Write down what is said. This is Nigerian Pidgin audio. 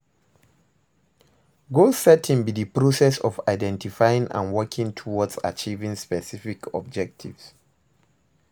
Goal setting be di process of identifying and working towards achieving specific objectives.